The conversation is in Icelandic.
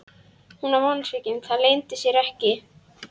Hún var vonsvikin, það leyndi sér ekki.